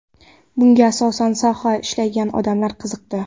Bunga asosan sohada ishlagan odamlar qiziqdi.